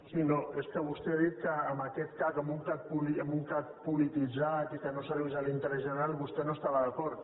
sí no és que vostè ha dit que amb aquest cac amb un cac polititzat i que no servís a l’interès general vostè no hi estava d’acord